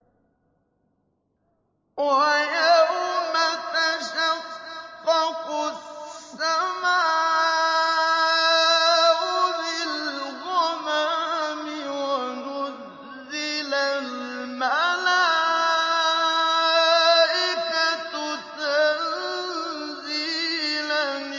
وَيَوْمَ تَشَقَّقُ السَّمَاءُ بِالْغَمَامِ وَنُزِّلَ الْمَلَائِكَةُ تَنزِيلًا